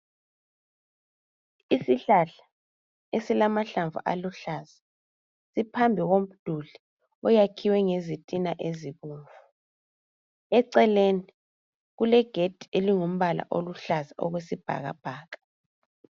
Isihlahla esilamahlamvu aluhlaza siphambi komduli oyakhiwe ngezitina ezibomvu. Eceleni kulegedi elingumbala oluhlaza okwesibhakabhaka.